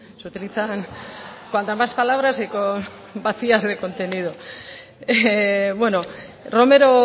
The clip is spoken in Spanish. se utilizan cuantas más palabras y vacías de contenido bueno romero